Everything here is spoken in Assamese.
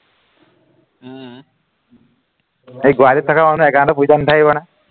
সি গুৱাহাটীত থকা মানুহ account ত পইচা নাথাকিব নে?